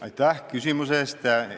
Aitäh küsimuse eest!